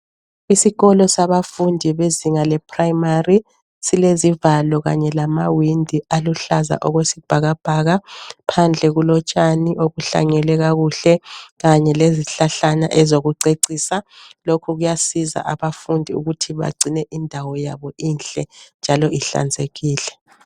Isikolo sabafundi bezinga leprimary, silezivalo kanye lamawindi aluhlaza okwesibhakabhaka. Phandle kulotshani obuhlanyelwe kakuhle kanye lezihlahlana ezokucecisa. Lokhu kuyasiza abafundi ukuthi bagcine indawo yabo inhle njalo ihlanzekile.